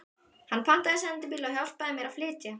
Hann pantaði sendibíl og hjálpaði mér að flytja.